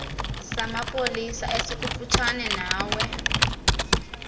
samapolisa esikufutshane nawe